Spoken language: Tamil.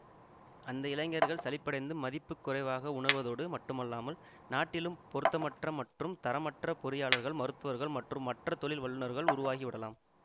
அந்த இளைஞர்கள் சலிப்படைந்து மதிப்புக்குறைவாக உணர்வதோடு மட்டுமல்லாமல் நாட்டிலும் பொருத்தமற்ற மற்றும் தரமற்ற பொறியாளர்கள் மருத்துவர்கள் மற்றும் மற்ற தொழில் வல்லுநர்கள் உருவாகிவிடலாம்